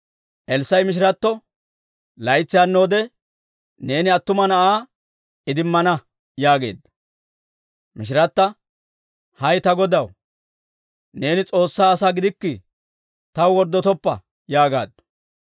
Elssaa'i mishiratto, «Laytsi hannoode neeni attuma na'aa idimmana» yaageedda. Mishirata, «Hay ta godaw, neeni S'oossaa asaa gidikkii, taw worddotoppa!» yaagaaddu.